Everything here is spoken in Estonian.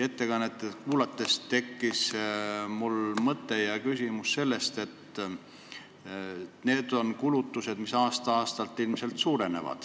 Ettekannet kuulates tekkis mul mõte ja küsimus selle kohta, et need kulutused aasta-aastalt ilmselt suurenevad.